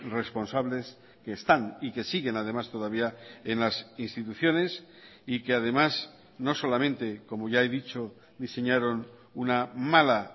responsables que están y que siguen además todavía en las instituciones y que además no solamente como ya he dicho diseñaron una mala